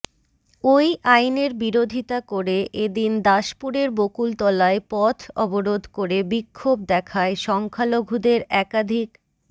ওই আইনের বিরোধিতা করে এ দিন দাসপুরের বকুলতলায় পথ অবরোধ করে বিক্ষোভ দেখায় সংখ্যালঘুদের একাধিক